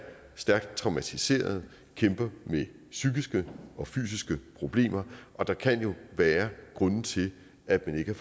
stærkt traumatiserede kæmper med psykiske og fysiske problemer og der kan jo være grunde til at man ikke